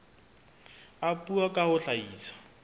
a puo ka ho hlahisa